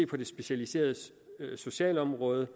på det specialiserede socialområde